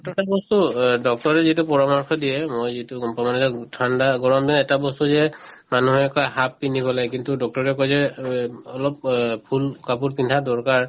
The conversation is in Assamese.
বস্তু অ doctor ৰে যিটো পৰামৰ্শ দিয়ে মই যিটো গম পাওঁ মানে ঠাণ্ডা গৰমে এটা বস্তু যিয়ে মানুহে কই half পিন্ধিব লাগে কিন্তু doctor ৰে কই যে অ অলপ অ full কাপোৰ পিন্ধা দৰকাৰ